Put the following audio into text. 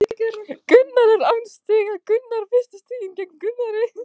Huginn er án stiga, koma fyrstu stigin gegn Víði?